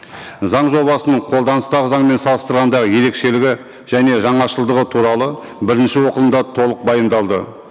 заң жобасының қолданыстағы заңмен салыстырғанда ерекшелігі және жаңашылдығы туралы бірінші оқылымда толық баяндалды